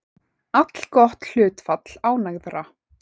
Allgott hlutfall ánægðra